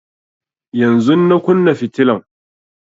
Yanzun na kunna fitilan